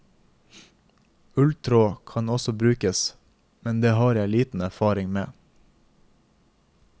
Ulltråd kan også brukes, men det har jeg liten erfaring med.